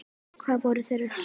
Hvað voru þeir að spá?